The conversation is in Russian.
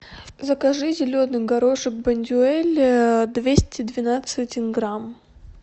закажи зеленый горошек бондюэль двести двенадцать грамм